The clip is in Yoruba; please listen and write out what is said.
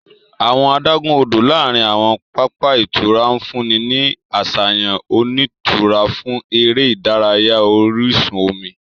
Awọn adagun-odo láàrin awọn papa ìtura nfunni ni aṣayan onitura fún eré ìdárayá orísun omi.